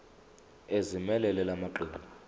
ezimelele la maqembu